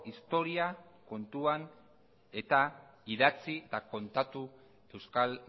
historia kontuan eta idatzi eta kontatu euskal